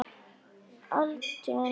Altént reyna.